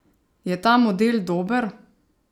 Je ta model dober?